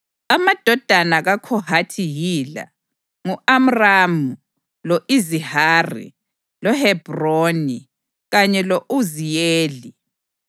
Amadodana kaKhohathi yila: ngu-Amramu, lo-Izihari, loHebhroni kanye lo-Uziyeli.